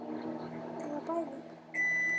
Eða bæði.